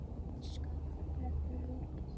Skömm þeirra er því mikil.